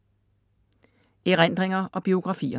Erindringer og biografier